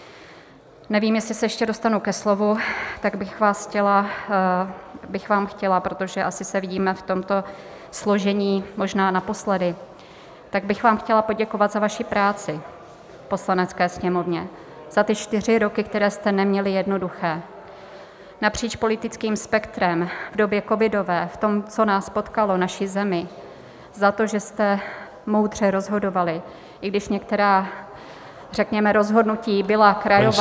Nevím, jestli se ještě dostanu ke slovu, tak bych vám chtěla, protože asi se vidíme v tomto složení možná naposledy, tak bych vám chtěla poděkovat za vaši práci v Poslanecké sněmovně, za ty čtyři roky, které jste neměli jednoduché, napříč politickým spektrem, v době covidové, v tom, co nás potkalo, naši zemi, za to, že jste moudře rozhodovali, i když některá řekněme rozhodnutí byla krajová, ale -